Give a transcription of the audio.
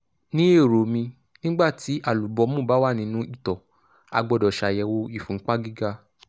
ní èrò mi nígbà tí àlúbọ́mù bá wà nínú ìtọ̀ a gbọ́dọ̀ ṣàyẹ̀wò ìfúnpá gíga